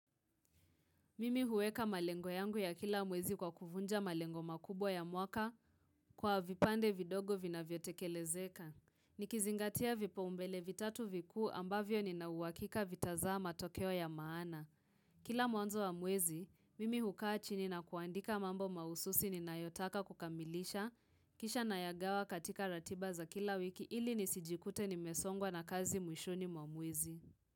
Mimi huweka malengo yangu ya kila mwezi kwa kuvunja malengo makubwa ya mwaka kwa vipande vidogo vina vyotekelezeka. Nikizingatia vipa umbele vitatu vikuu ambavyo nina uwakika vitazama tokeo ya maana. Kila mwanzo wa mwezi, mimi hukaa chini na kuandika mambo mahususi ni nayotaka kukamilisha. Kisha na yagawa katika ratiba za kila wiki ili nisijikute nimesongwa na kazi mwishuni mwamwezi.